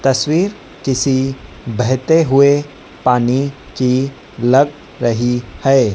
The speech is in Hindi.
तस्वीर किसी बहते हुए पानी की लग रही है।